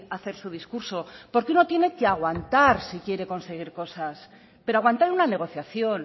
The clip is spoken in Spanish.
a hacer su discurso porque uno tiene que aguantar si quiere conseguir cosas pero aguantar una negociación